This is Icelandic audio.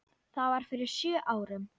Það var fyrir sjö árum.